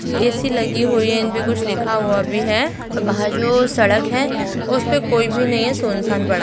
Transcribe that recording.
AC. लगी हुई है इनपे कुछ लिखा हुआ भी है और वहाँ जो सड़क है उसमें कोई भी नहीं है सुनसान पड़ा--